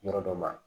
Yɔrɔ dɔ ma